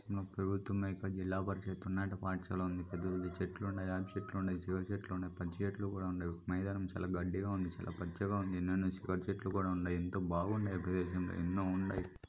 ప్రభుత్వం యొక్క జిల్లా పరిషత్ పాఠశాల ఉంది పెద్ద పెద్ద చెట్లున్నాయ్. వేప చెట్లున్నాయ్ సివచేట్లున్నాయ్ పచ్చి చెట్లు కూడా వున్నాయ్. మైదానం గడ్డిగా ఉంది చాలా పచ్చిగా ఉంది. నిండుగా సివచేట్లున్నాయ్ ఎంత బావున్నాయ్ ప్రదేశం లో ఎన్నో ఉన్నాయ్.